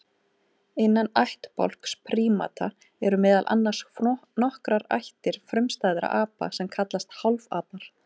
Innan ættbálks prímata eru meðal annars nokkrar ættir frumstæðra apa sem kallast hálfapar.